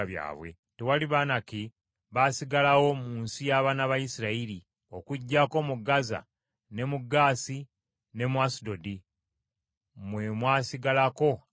Tewali Banaki baasigalawo mu nsi y’abaana ba Isirayiri, okuggyako mu Gaza, ne mu Gaasi, ne mu Asudodi, mwe mwasigalako abamu.